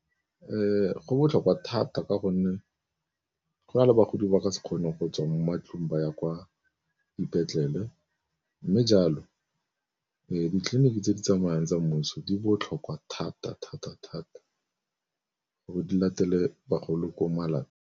Go botlhokwa thata ka gonne go na le bagodi ba ka se kgone go tswa mo matlong ba ya kwa dipetlele, mme jalo ditleliniki tse di tsamayang tsa mmuso di botlhokwa thata-thata-thata gore di latele bagolo ko .